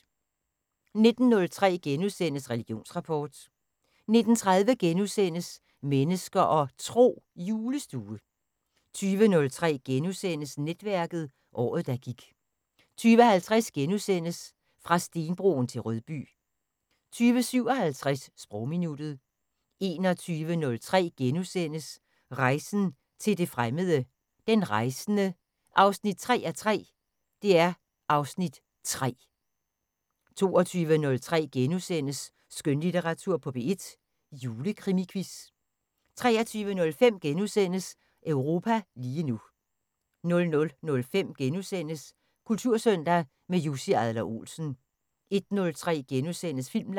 19:03: Religionsrapport * 19:30: Mennesker og Tro: Julestue * 20:03: Netværket: Året, der gik * 20:50: Fra stenbroen til Rødby * 20:57: Sprogminuttet 21:03: Rejsen til det fremmede: Den rejsende 3:3 (Afs. 3)* 22:03: Skønlitteratur på P1: Julekrimiquiz * 23:05: Europa lige nu * 00:05: Kultursøndag - med Jussi Adler Olsen * 01:03: Filmland *